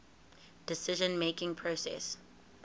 decision making process